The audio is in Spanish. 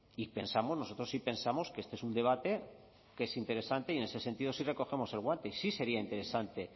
y pensamos nosotros sí pensamos que este es un debate que es interesante y en ese sentido sí recogemos el guante y sí sería interesante